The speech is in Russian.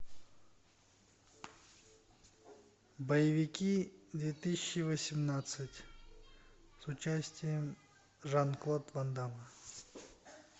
боевики две тысячи восемнадцать с участием жан клод ван дамма